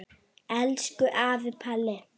Elsku afi Palli.